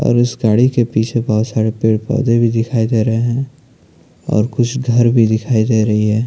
और उस गाडी के पीछे बहुत सारे पेड़ पोधे भी दिखाई दे रहे है और कुछ घर भी दिखाई दे रहे है।